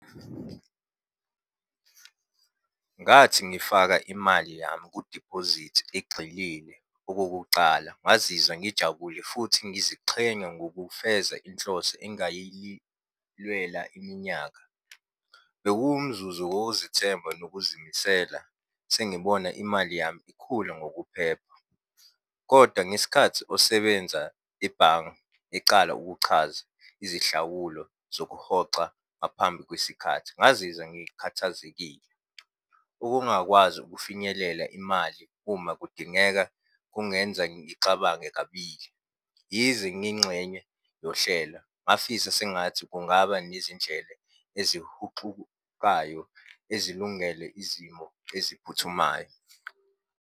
Ngathi ngifaka imali yami kudiphozithi egxilile okokucala ngazizwa ngijabule futhi ngiziqhenya ngokufeza inhloso engayilwela iminyaka. Bekuwumzuzu wokuzithemba nokuzimisela sengibona imali yami ikhula ngokuphepha, kodwa ngesikhathi osebenza ebhange ecala ukuchaza izihlawulo zokuhoxa ngaphambi kwesikhathi, ngazizwa ngikhathazekile. Ukungakwazi ukufinyelela imali uma kudingeka kungenza ngixabange kabili. Yize ngiyingxenye yohlela ngafisa sengathi kungaba nezindlele ezihuxukayo, ezilungele izimo eziphuthumayo.